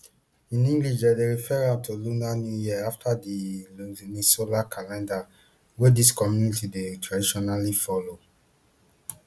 in english dem dey refer am to lunar new year afta di lunisolar calendar wey dis communities dey traditionally follow